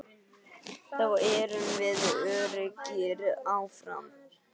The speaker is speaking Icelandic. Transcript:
Þá erum við öruggir áfram.